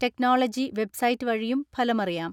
Technology website വഴിയും ഫലമറിയാം.